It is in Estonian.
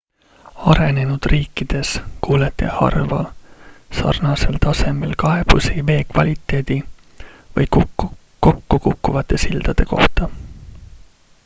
arenenud riikides kuulete harva sarnasel tasemel kaebusi vee kvaliteedi või kokkukukkuvate sildade kohta